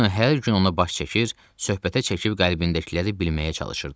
Ravino hər gün ona baş çəkir, söhbətə çəkib qəlbindəkiləri bilməyə çalışırdı.